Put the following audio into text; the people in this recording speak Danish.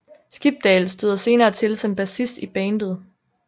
Skibdal støder senere til som bassist i bandet